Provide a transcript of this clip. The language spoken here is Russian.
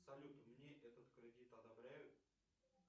салют мне этот кредит одобряют